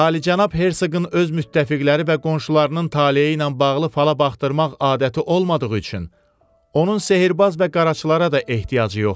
Alicənab Hersegın öz müttəfiqləri və qonşularının taleyi ilə bağlı fala baxdırmaq adəti olmadığı üçün, onun sehirbaz və qaraçılara da ehtiyacı yoxdur.